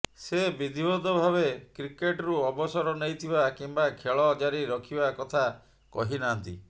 ସେ ବିଧିବଦ୍ଧ ଭାବେ କ୍ରିକେଟ୍ରୁ ଅବସର ନେଇଥିବା କିମ୍ବା ଖେଳ ଜାରି ରଖିବା କଥା କହି ନାହାନ୍ତି